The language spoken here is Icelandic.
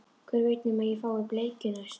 Hver veit nema ég fái bleikju næst